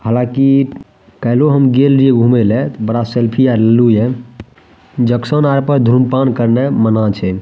हालांकि काएल्हो हम गेल रिहे घूमे ले ते बड़ा सेल्फी आर लेलु ये जंक्शन आर पे धूम्रपान करने मना छै।